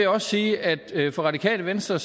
også sige at det for radikale venstre